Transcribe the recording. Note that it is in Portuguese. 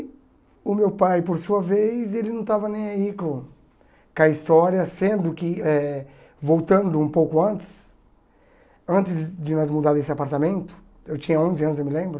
O meu pai, por sua vez, ele não estava nem aí com com a história, sendo que, eh voltando um pouco antes, antes de nós mudar desse apartamento, eu tinha onze anos, eu me lembro,